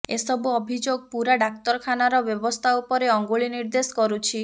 ଏସବୁ ଅଭିଯୋଗ ପୂରା ଡାକ୍ତରଖାନାର ବ୍ୟବସ୍ଥା ଉପରେ ଅଙ୍ଗୁଳି ନିର୍ଦେଶ କରୁଛି